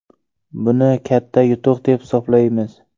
Buni katta yutuq deb hisoblaymiz.